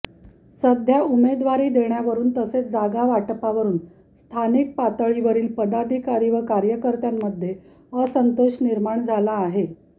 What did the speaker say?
सध्या उमेदवारी देण्यावरून तसेच जागा वाटपावरून स्थानिक पातळीवरील पदाधिकारी व कार्यकर्त्यांमध्ये असंतोष निर्माण झाला आहे